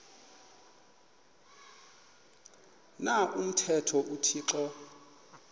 na umthetho uthixo